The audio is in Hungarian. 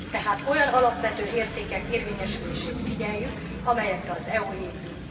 Tehát olyan alapvető értékek érvényesülését figyeljük, amelyekre az EU épül.